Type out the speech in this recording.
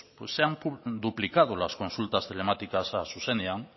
pues se han duplicado las consultas telemáticas a zuzenean